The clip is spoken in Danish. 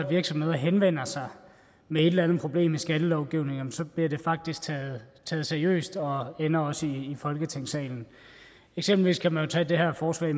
virksomheder henvender sig med et eller andet problem i skattelovgivningen bliver det faktisk taget taget seriøst og ender også i folketingssalen eksempelvis kan man tage det her forslag